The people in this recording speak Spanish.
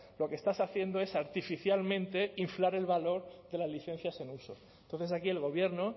lo que estás haciendo es artificialmente inflar el valor de las licencias e uso entonces aquí el gobierno